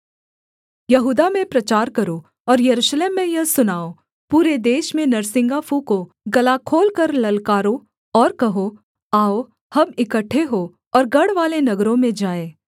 यहूदा में प्रचार करो और यरूशलेम में यह सुनाओ पूरे देश में नरसिंगा फूँको गला खोलकर ललकारो और कहो आओ हम इकट्ठे हों और गढ़वाले नगरों में जाएँ